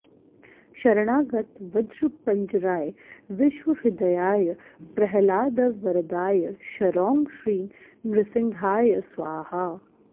शरणागत वज्रपञ्जराय विश्वहृदयाय प्रह्लादवरदाय क्षरौं श्रीं नृसिंहाय स्वाहा